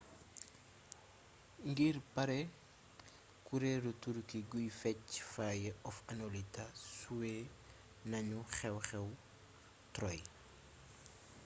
ngir pare kureelu turki guy fecc fire of anatolia suwe nanu xeew xew troy